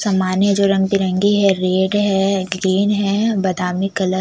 समाने जो रंगबिरंगी है रेड है ग्रीन है बदामी कलर --